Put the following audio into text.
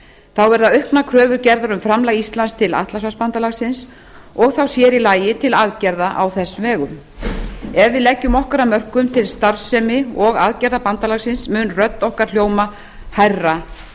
þá verða auknar kröfur gerðar um framlag íslands til atlantshafsbandalagsins og þá sér í lagi til aðgerða á þess vegum ef við leggjum okkar af mörkum til starfsemi og aðgerða bandalagsins mun rödd okkar hljóma hærra